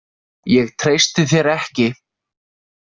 Ég treysti þér ekki.